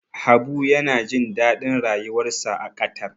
Habu yana jin daɗin rayuwarsa a Qatar.